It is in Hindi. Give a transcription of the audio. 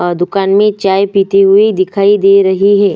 आ दुकान में चाय पीते हुए दिखाई दे रहे है।